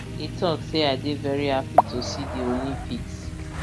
e tok say i dey very happy to see di olympics